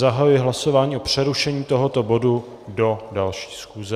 Zahajuji hlasování o přerušení tohoto bodu do další schůze.